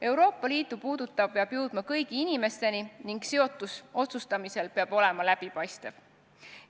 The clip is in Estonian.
Euroopa Liitu puudutav peab jõudma kõigi inimesteni ning otsustamine peab olema läbipaistev.